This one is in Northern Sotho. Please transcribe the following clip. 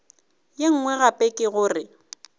ye nngwe gape ke gore